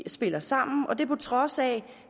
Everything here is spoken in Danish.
spiller sammen og det på trods af